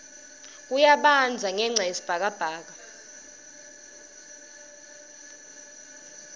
kuyabandza ngenca yesikibha sani